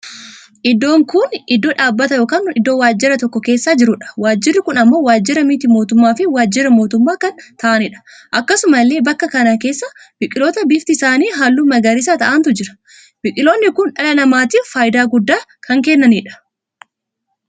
Iddoon kun iddoo dhaabbata ykn iddoo waajjirri tokkoo keessa jiruudha. waajjirri kun ammoo waajjira miti-mootummaa fi waajjira mootummaa kan taa'aniidha. akkasumallee bakka kana keessa biqiloota biftii isaanii halluu magariisa taa'antu jira. biqiloonni Kun dhala namaatiif faayidaa guddaa kan kennaniidha.